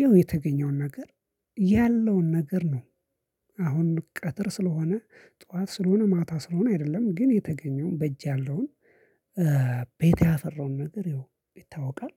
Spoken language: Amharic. ይኸው የተገኘውን ነገር ያለውን ነገር ነው። አሁን ቀትር ስለሆነ ጠዋት ስለሆነ ማታ ስለሆነ አይደለም ግን የተገኘውን በእጅ ያለውን ቤት ያፈራውን ነገር ይታወቃል።